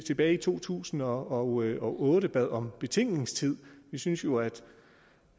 tilbage i to tusind og otte og otte bad om betænkningstid vi synes jo